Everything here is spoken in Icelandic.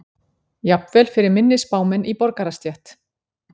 Jafnvel fyrir minni spámenn í borgarastétt.